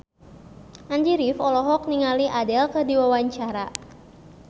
Andy rif olohok ningali Adele keur diwawancara